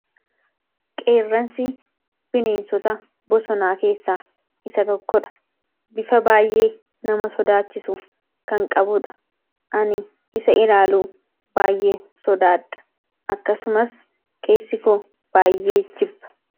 Qeerransi bineensota bosonaa keessaa isa tokkodha. Bifa baayyee nama sodaachisu kan qabuudha. Ani isa ilaaluu baay'ee sodaadha. Akkasumas keessi koo baay'ee jibba.